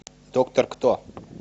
доктор кто